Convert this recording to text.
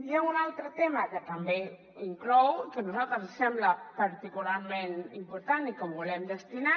hi ha un altre tema que també inclou que a nosaltres ens sembla particularment important i que ho volem destacar